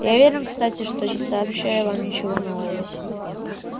я уверен кстати что не сообщаю вам ничего нового